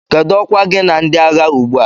Kedụ ọkwa gị na ndị agha ugbu a?